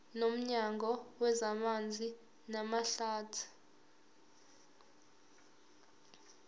nomnyango wezamanzi namahlathi